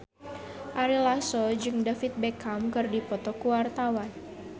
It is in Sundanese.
Ari Lasso jeung David Beckham keur dipoto ku wartawan